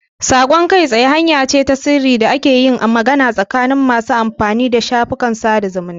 Saƙon kai tsaye hanya ce ta sirri da ake yin magana tsakanin masu amfani da shafin sada zumunta.